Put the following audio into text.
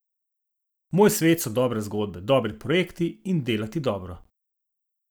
Moj svet so dobre zgodbe, dobri projekti in delati dobro.